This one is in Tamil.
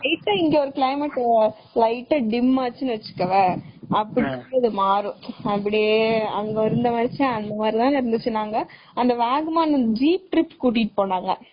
Light ஆ இங்க ஒரு climate light ஆ dim ஆச்சுனு வச்சுகோவே அப்ப மாரும் அப்படியே அங்க இருந்த மாதிரியே அங்க வாகமன் jeep trip கூட்டிட்டு போனாங்க